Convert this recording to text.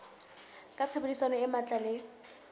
ka tshebedisano e matla le